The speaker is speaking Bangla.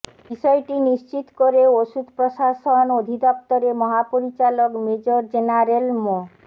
বিষয়টি নিশ্চিত করে ওষুধ প্রশাসন অধিদফতরের মহাপরিচালক মেজর জেনারেল মো